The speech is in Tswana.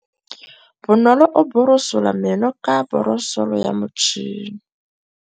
Bonolô o borosola meno ka borosolo ya motšhine.